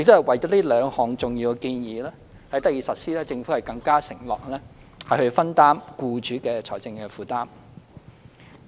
為使這兩項重要建議得以實施，政府更承諾分擔僱主的財政負擔。